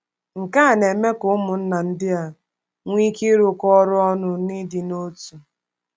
Nke a na-eme ka ụmụnna ndị a nwee ike ịrụkọ ọrụ ọnụ n’ịdị n’otu.